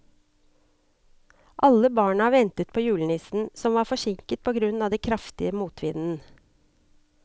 Alle barna ventet på julenissen, som var forsinket på grunn av den kraftige motvinden.